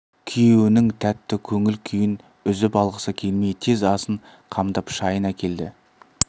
күйеуінің тәтті көңіл күйін үзіп алғысы келмей тез асын қамдап шайын әкелді